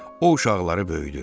O uşaqları böyüdür.